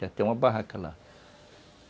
Já tem uma barraca lá.